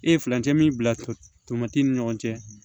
E ye furancɛ min bila tomati ni ɲɔgɔn cɛ